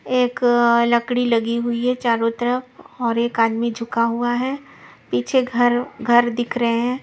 एक अअ लकड़ी लगी हुई है चारों तरफ़ और एक आदमी झुका हुआ है पीछे घर घर दिख रहे हैं।